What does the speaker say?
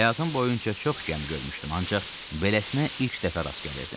Həyatım boyunca çox gəmi görmüşdüm, ancaq beləsinə ilk dəfə rast gəlirdim.